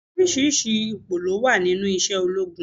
Oríṣiríṣi ipò ló wà nínú isé ológun